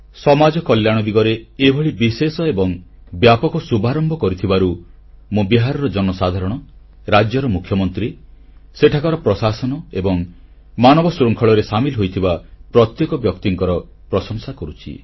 ସମାଜ କଲ୍ୟାଣ ଦିଗରେ ଏଭଳି ବିଶେଷ ଏବଂ ବ୍ୟାପକ ଶୁଭାରମ୍ଭ କରିଥିବାରୁ ମୁଁ ବିହାରର ଜନସାଧାରଣ ରାଜ୍ୟର ମୁଖ୍ୟମନ୍ତ୍ରୀ ସେଠାକାର ପ୍ରଶାସନ ଏବଂ ମାନବ ଶୃଙ୍ଖଳରେ ସାମିଲ ହୋଇଥିବା ପ୍ରତ୍ୟେକ ବ୍ୟକ୍ତିଙ୍କର ପ୍ରଶଂସା କରୁଛି